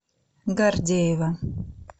гордеева